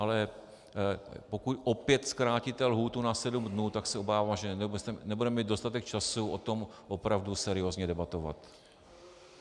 Ale pokud opět zkrátíte lhůtu na sedm dnů, tak se obávám, že nebudeme mít dostatek času o tom opravdu seriózně debatovat.